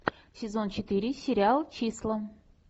сезон четыре сериал числа